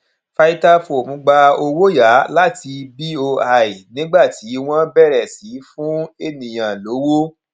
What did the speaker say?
vitafoam gba owó yá láti boi nígbà tí wọn bẹrẹ sí í fún ènìyàn lówó